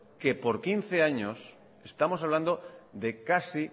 que por quince años estamos hablando de más